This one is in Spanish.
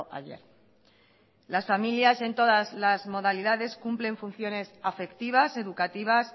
ayer las familias en todas las modalidades cumplen funciones afectivas educativas